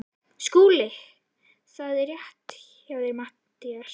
SKÚLI: Það er rétt hjá þér Matthías.